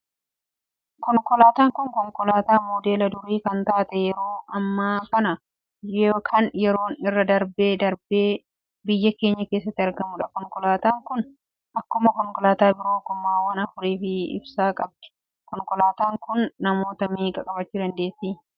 Konkolaataan kun, konkolaataa modeela durii kan taatee fi yeroo ammaa kana kan yeroon irra darbee darbee darbee biyya keenya keessatti argamudha. Konkolaataan kun akkuma konkolaataa biroo gommaawwan afurii fi ibsaa qabdi. Konkolaataan kun namoota meeqa qabachuu dandeessi?